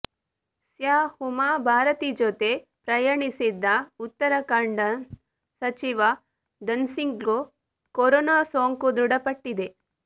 ಸ್ಯ ಉಮಾ ಭಾರತಿಜೊತೆ ಪ್ರಯಾಣಿಸಿದ್ದ ಉತ್ತರಾಖಂಡ್ನ ಸಚಿವ ಧನ್ಸಿಂಗ್ಗೂ ಕೊರೋನಾ ಸೋಂಕು ದೃಢಪಟ್ಟಿದೆ